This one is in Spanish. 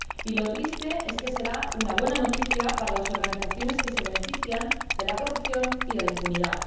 Y lo triste es que será una buena noticia para las organizaciones que se benefician de la corrupción y de la impunidad.